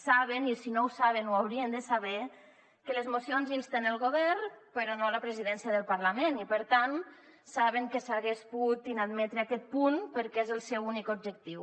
saben i si no ho saben ho haurien de saber que les mocions insten el govern però no la presidència del parlament i per tant saben que s’hagués pogut inadmetre aquest punt perquè és el seu únic objectiu